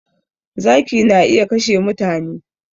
Zaki na iya kashe mutane